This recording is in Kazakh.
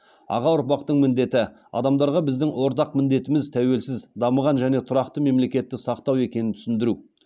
аға ұрпақтың міндеті адамдарға біздің ортақ міндетіміз тәуелсіз дамыған және тұрақты мемлекетті сақтау екенін түсіндіру